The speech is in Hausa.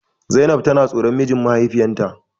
Zainab tana tsoron mijin mahaifiyarta.